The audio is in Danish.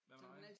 Hvad med dig?